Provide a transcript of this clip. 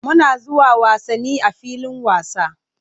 Muna zuwa wasanni a filin wasa.